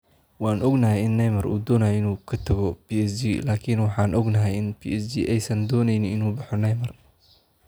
"Waan ognahay in Neymar uu doonayo inuu ka tago PSG laakiin waxaan ognahay in PSG aysan dooneynin inuu baxo Neymar."